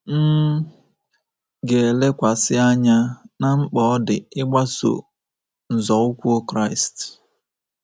M ga-elekwasị anya ná mkpa ọ dị ịgbaso nzọụkwụ Kraịst.